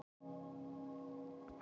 Morgunsól, hvenær kemur nían?